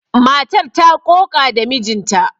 Matar ta ƙoƙa da mijinta.